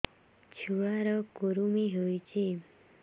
ଛୁଆ ର କୁରୁମି ହୋଇଛି